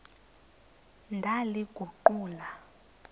ndaliguqula